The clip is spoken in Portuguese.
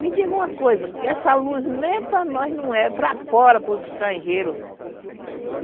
Me diga uma coisa, que essa luz nem para nós não é, é para fora, para os estrangeiros.